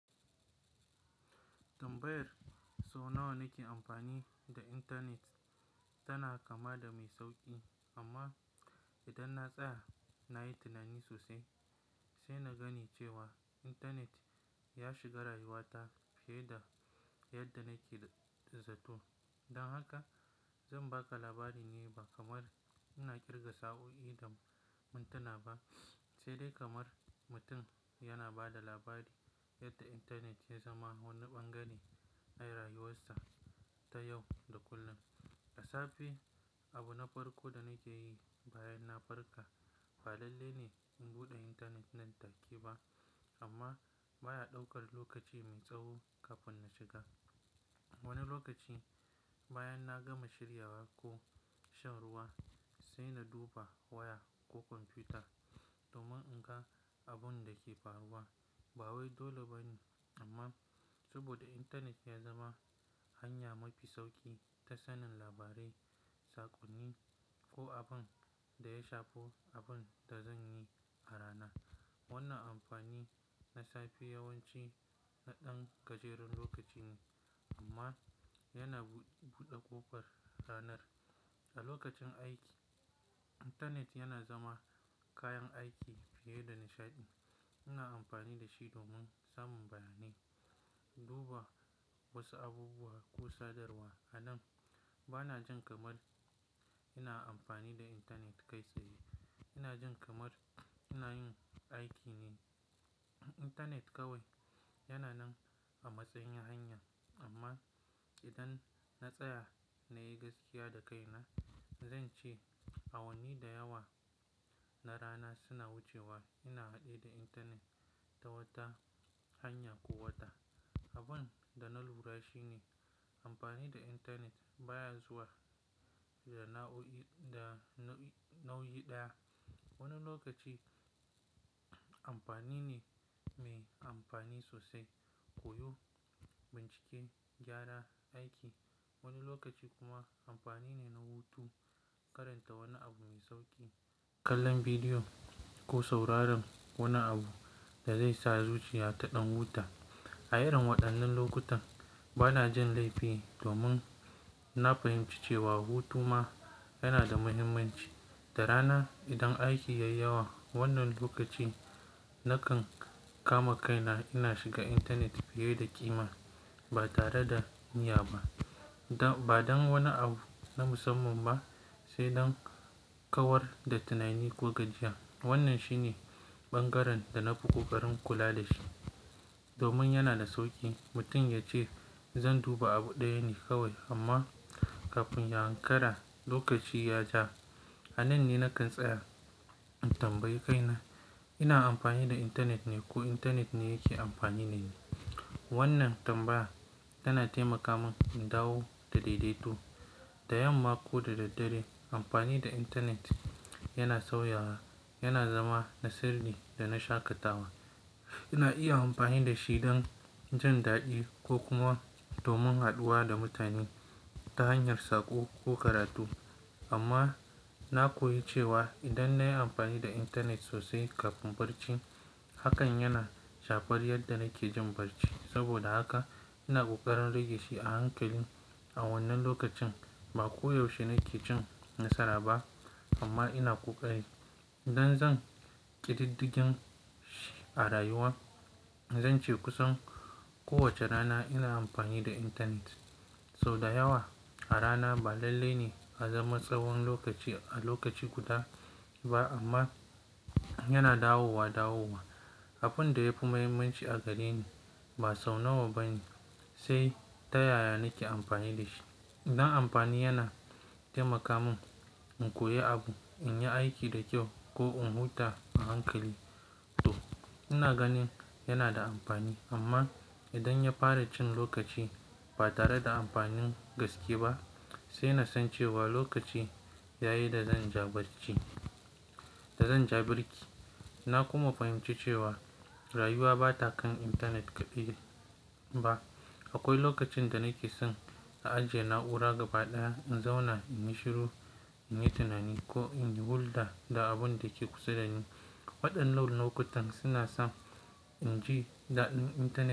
Tambayar so nawa nake amfani da intanet tana kama da mai sauƙi amma idan na tsaya na yi tunani sosai sai na gani cewa intanet ya shiga rayuwata fiye da yadda nake zato. Don haka zan baka labari ne ba kamar ina kirga sa'o'i da mintana ba, sai dai kamar mutum yana ba da labari yadda intanet ya zama wani ɓangare a rayuwarsa ta yau da kullum. Da safe abu na farko da nike yi bayan na farka ba lalle ne in bude intanet nan take ba amma baya daukar lokaci mai tsawo kafin na shiga. Wani lokaci bayan na gama shiryawa ko shan ruwa sai na duba waya ko kwamfuta domin in ga abun da ke faruwa ba wai dole bane amma saboda intanet ya zama hanya mafi sauki ta sanin labarai sakonin ko abun da ya shafi abun da zanyi a rana. Wannan amfani na safe yawanci na ɗan gajeren lokaci ne amma yana buɗe ƙofar ranar. A lokacin aiki, intanet yana zama kayan aiki fiye da nishaɗi. Ina amfani da shi domin samun bayanai, duba wasu abubuwa ko sadarwa. A nan bana jin kamar ina amfani da intanet kai tsaye. Ina jin kamar ina yin aiki ne. Intanet kawai yana nan a matsayin hanya amma idan na tsaya na yi gaskiya da kaina, zan ce awanni da yawa na rana suna wucewa ina haɗe da intanet ta wata hanya ko wata. Abin da na lura shi ne amfani da intanet baya zuwa da nauyi ɗaya. Wani lokaci amfani ne mai amfani sosai, koyo, bincike, gyara aiki. Wani lokaci kuma amfani ne na hutu, karanta wani abu mai sauƙi, kallon bidiyo ko sauraron wani abu da zai sa zuciya ta ɗan huta. A irin waɗannan lokutan bana jin laifi domin na fahimci cewa hutu ma yana da muhimmanci. Da rana idan aiki yayi yawa wannan lokaci nakan kama kaina ina shiga intanet fiye da ƙima ba tare da niyya ba, ba don wani abu na musamman ba sai don kawar da tunani ko gajiya. Wannan shi ne ɓangaren da na fi ƙoƙarin kula da shi domin yana da sauƙi mutum ya ce "Zan duba abu ɗaya ne kawai" amma kafin ya ankara lokaci ya ja. A nan ne nakan tsaya in tambayi kaina "ina amfani da intanet ne ko intanet ne yake amfani dani?" Wannan tambaya tana taimaka mun in dawo daidaito. Da yamma ko da daddare amfani da intanet yana sauyawa, yana zama na siri da na shaƙatawa. Ina iya amfani da shi don jin daɗi ko kuma domin haɗuwa da mutane ta hanyar saƙo ko karatu amma na koyi cewa idan na yi amfani da intanet sosai kafin barci hakan yana shafar yadda nake jin barci. Saboda haka ina ƙoƙarin rage shi a hankali. A wannan lokacin ba koyaushe nake cin nasara ba amma ina ƙoƙari. Idan zan ƙididdigin shi a rayuwa, zan ce kusan kowace rana ina amfani da intanet. Sau da yawa a rana ba lalle ne ya zama tsawon lokaci a lokaci guda ba amma yana dawowa dawowa. Abin da yafi muhimmanci a gare ni ba sau nawa ba ne sai ta yaya nake amfani da shi. Idan amfani yana taimaka mun in koyi abu, in yi aiki da kyau ko in huta a hankali to ina ganin yana da amfani amma idan ya fara cin lokaci ba tare da amfanin gaske ba sai na san cewa lokaci yayi da zan ja barci-- da zan ja birki. Na kuma fahimci cewa rayuwa ba ta kan intanet kaɗai ba. Akwai lokacin da nake son a ajiye na'ura gaba ɗaya, in zauna, in yi shiru, in yi tunani ko in yi hulɗa da abun da ke kusa dani. Waɗannan lokutan suna sa in ji daɗin intanet.